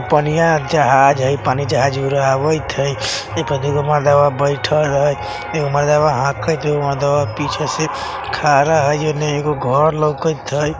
पनिया जहाज हैय पानी जहाज उड़ावित हैय एगो दुगो मर्दवा बइठल हैय एगो मर्दवा हाकैत हैय एगो मर्दवा पीछे से खड़ा हैय ओने एगो घर लोकित हैय।